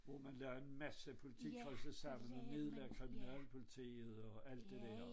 Hvor man lagde en masse politikredse sammen og nedlagde kriminalpolitiet og alt det der